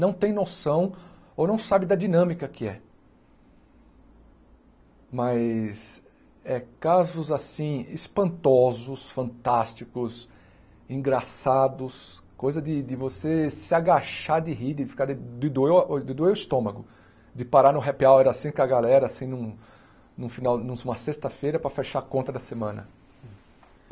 não tem noção ou não sabe da dinâmica que é. Mas é casos, assim, espantosos, fantásticos, engraçados, coisa de de você se agachar de rir, de ficar de de doer o de doer o estômago, de parar no happy hour, assim, com a galera, assim, num num final numa sexta-feira para fechar a conta da semana.